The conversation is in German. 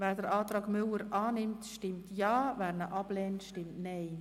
Wer den Antrag unterstützt, stimmt Ja, wer diesen anlehnt, stimmt Nein.